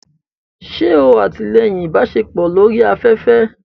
Ṣe o atilẹyin ibaṣepọ lori aƒẹfẹ?